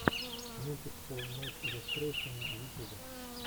мультик хоуммэйд иллюстрэйшэна в ютюбе